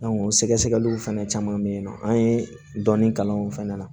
o sɛgɛsɛgɛliw fɛnɛ caman be yen nɔ an ye dɔni kalanw fɛnɛ na